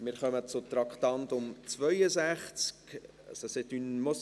Wir kommen zum Traktandum 62. C’est une